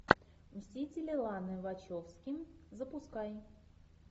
мстители ланы вачовски запускай